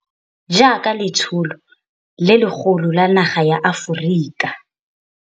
Jaaka letsholo le legolo la naga ya Aforika.